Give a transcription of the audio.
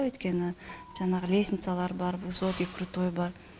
өйткені жаңағы лесницалар бар высокий крутой бар